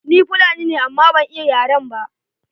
Ni Fulani ne amma ban iya yaren ba.